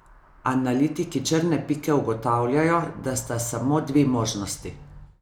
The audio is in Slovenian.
Analitiki Črne pike ugotavljajo, da sta samo dve možnosti.